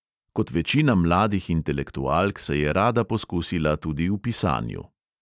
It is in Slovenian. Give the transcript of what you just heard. Kot večina mladih intelektualk se je rada poskusila tudi v pisanju.